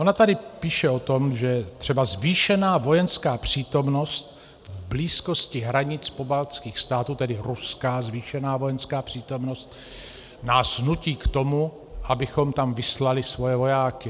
Ona tady píše o tom, že třeba "zvýšená vojenská přítomnost v blízkosti hranic pobaltských států", tedy ruská zvýšená vojenská přítomnost, "nás nutí k tomu, abychom tam vyslali svoje vojáky".